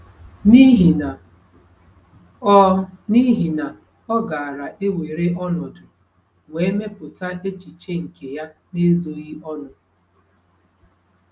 N’ihi na, ọ N’ihi na, ọ gaara ewere ọnọdụ wee mepụta echiche nke ya n’ezoghị ọnụ.